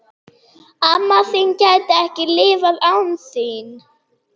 Amma þín gæti ekki lifað án þín.